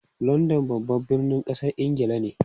London babban birnin kasar Ingila ne.